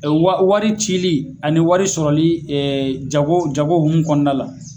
Wari cili ani wari sɔrɔli jago jago hukumu kɔnɔna la